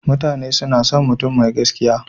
Mutane suna son mutum mai gaskiya.